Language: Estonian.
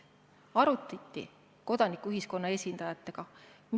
Arutati kodanikuühiskonna esindajatega.